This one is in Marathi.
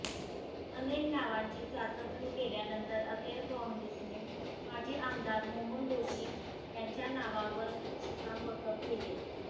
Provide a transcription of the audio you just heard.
अनेक नावांची चाचपणी केल्यानंतर अखेर काँग्रेसने माजी आमदार मोहन जोशी यांच्या नावावर शिक्कामोर्तब केले